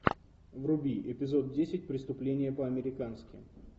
вруби эпизод десять преступление по американски